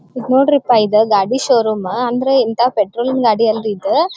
ನೊಡ್ರಿಪ್ಪ ಇದು ಗಾಡಿ ಷೋರೂಮ್ ಅಂದ್ರೆ ಇಂತ ಪೆಟ್ರೋಲ್ ಗಾಡಿ ಅಲ್ಲ ಇದು.